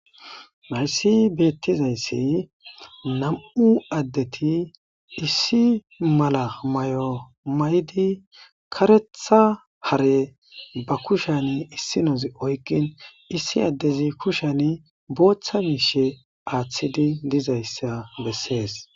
Hayssi bettizaysi nam'u addeti issi mala maayo mayidi kareththa haare ba kushshen issinozi oykin issi addezi kushshen booththa mishshe aathidi diizayssa besses.